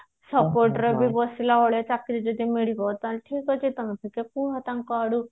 ବସିଲାବେଳେ ଚାକିରି ଯଦି ମିଳିବ ତାହାଲେ ଠିକ ଅଛି ତମେ ଟିକେ କୁହ ତାଙ୍କ ଆଡୁ